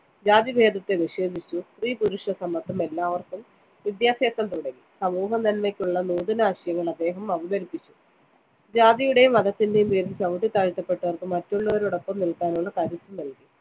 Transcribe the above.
ജാതിഭേദത്തെ നിഷേധിച്ചു. സ്ത്രീപുരുഷസമത്വം, എല്ലാവര്‍ക്കും വിദ്യാഭ്യാസം തുടങ്ങി സമൂഹനന്മയ്ക്കുള്ള നൂതനാശയങ്ങള്‍ അദ്ദേഹം അവതരിപ്പിച്ചു. ജാതിയുടെയും മതത്തിന്റെയും പേരില്‍ ചവിട്ടിത്താഴ്ത്തപ്പെട്ടവര്‍ക്ക് മറ്റുള്ളവരോടൊപ്പം നില്‍ക്കാനുള്ള കരുത്തു നല്‍കി.